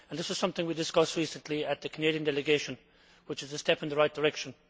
This is something we discussed recently at the Canadian delegation, which is a step in the right direction.